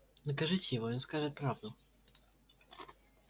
накажите его и он скажет правду